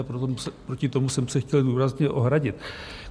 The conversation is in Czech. A proti tomu jsem se chtěl důrazně ohradit.